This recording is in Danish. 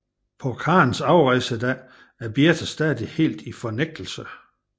På Karens afrejsedag er Birthe stadig helt i fornægtelse